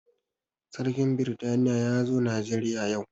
Sarkin britaniya ya zo najeriya yau